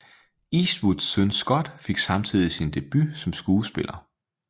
Eastwoods søn Scott fik samtidig sin debut som skuespiller